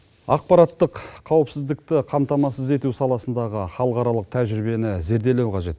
ақпараттық қауіпсіздікті қамтамасыз ету саласындағы халықаралық тәжірибені зерделеу қажет